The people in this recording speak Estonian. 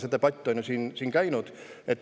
Selle üle on siin ju ka debatt käinud.